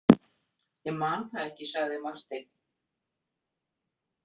Ég man það ekki, sagði Marteinn.